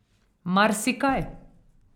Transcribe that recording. Marsikaj.